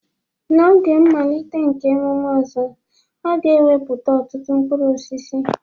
N'oge mmalite nke emume Ozo, a ga-ewepụta ọtụtụ mkpụrụ osisi.